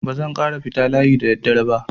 Ba zan ƙara fita layi da daddare ba.